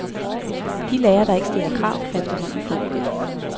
De lærere, der ikke stiller krav, er efterhånden få.